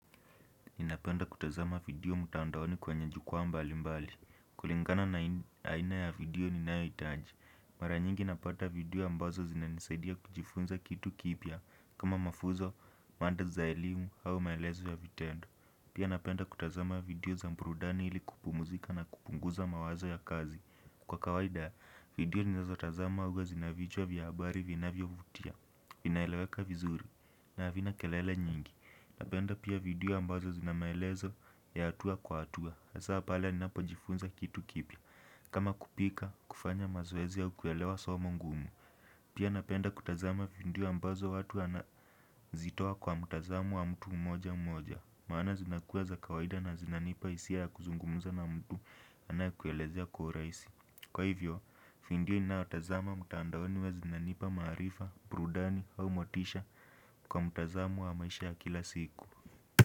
Ninapenda kutazama video mutaundaoni kwenye jukuwa mbali mbali. Kulingana na aina ya video ni nayo itaji. Mara nyingi napata video ambazo zinanisaidia kujifunza kitu kibia. Kama mafuzo, manda za ilimu hao maelezo ya vitendo. Pia napenda kutazama video za mbrudani ili kupumuzika na kupunguza mawazo ya kazi. Kwa kawaida, video ninazo tazama uwa zinavijua vya habari vina vya vya vutia. Vinaeleweka vizuri. Na avina kelele nyingi. Napenda pia vidiwa ambazo zinamelezo ya atua kwa atua Asawa pala ni napojifunza kitu kipia kama kupika kufanya mazwezi ya ukuelewa somo gumu Pia napenda kutazama video ambazo watu wanazitowa kwa mtazamu wa mtu mmoja mmoja maana zinakuwa za kawaida na zinanipa isi ya kuzungumuza na mtu anayakuelezeaya kwa urasi Kwa hivyo, vidiwa na otazama mutandaoni wa zinanipa marifa, brudani au motisha kwa mutazamu wa maisha ya kila siku.